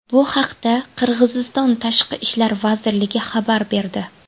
Bu haqda Qirg‘iziston Tashqi ishlar vazirligi xabar berdi .